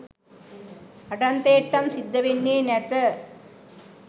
අඩන්තේට්ටම් සිද්ධ වෙන්නේ නැත.